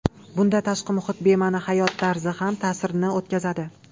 Bunda tashqi muhit, bema’ni hayot tarzi ham ta’sirini o‘tkazadi.